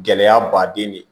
Gɛlɛya baden de